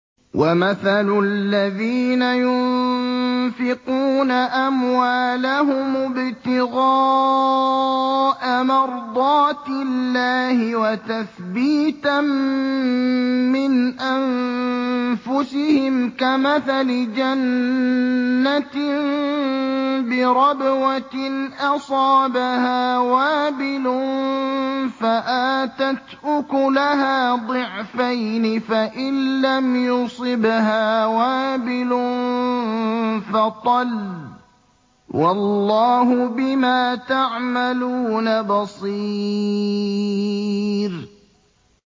وَمَثَلُ الَّذِينَ يُنفِقُونَ أَمْوَالَهُمُ ابْتِغَاءَ مَرْضَاتِ اللَّهِ وَتَثْبِيتًا مِّنْ أَنفُسِهِمْ كَمَثَلِ جَنَّةٍ بِرَبْوَةٍ أَصَابَهَا وَابِلٌ فَآتَتْ أُكُلَهَا ضِعْفَيْنِ فَإِن لَّمْ يُصِبْهَا وَابِلٌ فَطَلٌّ ۗ وَاللَّهُ بِمَا تَعْمَلُونَ بَصِيرٌ